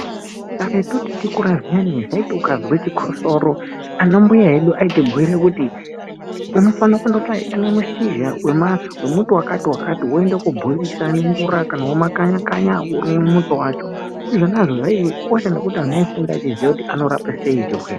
Karetu tichikura zviyani ukazwe chikosoro ana mbuya edu aitibhuira kuti unofana kundotsvaga mushizha wemuti wakati wakati woenda kobhoilisa nemvura womakaya kaya womwa muto wacho izvi zvakakosha ngekuti unenge uchiziya kuti anorapa sei chirwere.